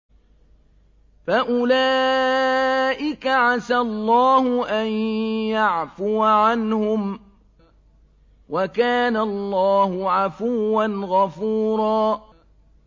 فَأُولَٰئِكَ عَسَى اللَّهُ أَن يَعْفُوَ عَنْهُمْ ۚ وَكَانَ اللَّهُ عَفُوًّا غَفُورًا